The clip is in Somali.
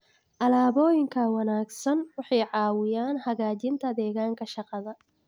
Alaabooyinka ka wanaagsan waxay caawiyaan hagaajinta deegaanka shaqada.